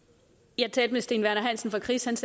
jeg talte med steen werner hansen fra kris